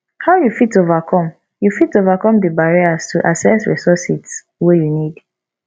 how you fit overcome you fit overcome di barriers to access resources wey you need